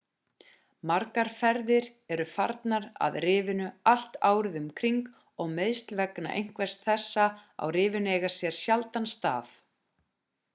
margar ferðir eru farnar að rifinu allt árið um kring og meiðsl vegna einhvers þessa á rifinu eiga sér sjaldan stað